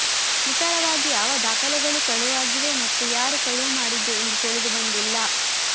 ನಿಖರವಾಗಿ ಯಾವ ದಾಖಲೆಗಳು ಕಳುವಾಗಿವೆ ಮತ್ತು ಯಾರು ಕಳುವು ಮಾಡಿದ್ದು ಎಂದು ತಿಳಿದು ಬಂದಿಲ್ಲ